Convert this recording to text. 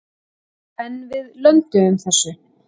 En við lönduðum þessu.